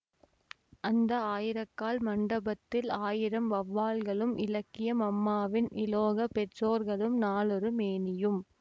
அந்த ஆயிரக்கால் மண்டபத்தில் ஆயிரம் வௌவால்களும் இலக்கிய மம்மாவின் இலோக பெற்றோர்களும் நாளொரு மேனியும்